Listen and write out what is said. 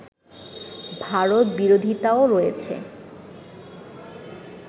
ভারত বিরোধিতাও রয়েছে